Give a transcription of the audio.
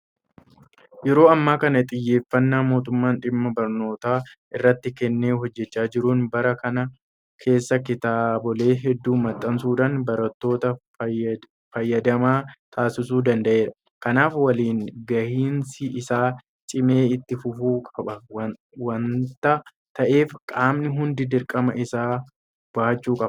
Yeroo ammaa kana xiyyeeffannaa mootummaan dhimma barnootaa irratti kennee hojjechaa jiruun bara kana keessa kitaabilee hedduu maxxansuudhaan barattoota fayyadamaa taasisuu danda'eera. Kanaaf waliin gahinsi isaa cimee itti fufuu qaba waanta ta'eef qaamni hunduu dirqama isaa bahachuu qaba.